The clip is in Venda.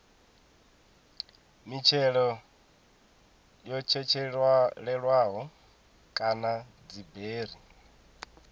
mitshelo yo tshetshelelwaho kana dziberi